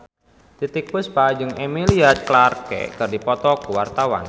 Titiek Puspa jeung Emilia Clarke keur dipoto ku wartawan